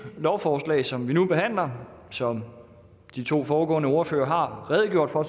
lovforslag som vi nu behandler og som de to foregående ordførere har redegjort for